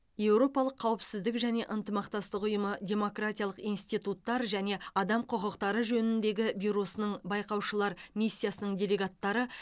еуропалық қауіпсіздік және ынтымақтастық ұйымы демократиялық институттар және адам құқықтары жөніндегі бюросының байқаушылар миссиясының делегаттары